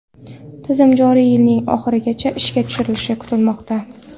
Tizim joriy yilning oxirigacha ishga tushirilishi kutilmoqda.